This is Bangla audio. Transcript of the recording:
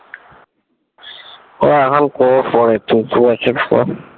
ও এখন করবো পরে দু এক বছর পর